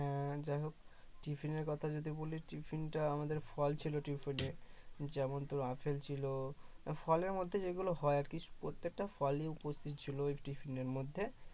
হ্যাঁ যাই হোক tiffin এর কথা যদি বলি tiffin টা আমাদের ফল ছিল tiffin এ যেমন তোর apple ছিল ফলের মধ্যে যেগুলো হয় আরকি প্রত্যেকটা ফলই উপস্থিত ছিল ওই tiffin এর মধ্যে